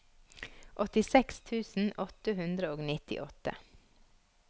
åttiseks tusen åtte hundre og nittiåtte